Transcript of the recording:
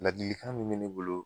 Ladilikan min me ne bolo